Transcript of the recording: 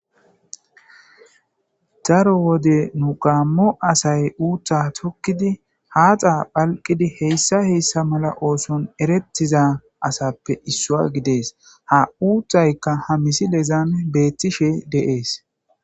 Daro wode nu qaammo asay uutha tokkidi haaxa phalqidi heyssa heyssa mala ooson erettiza asappe issua gidees ha uuthaykka hamisi lezaame beettishe deees.